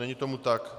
Není tomu tak.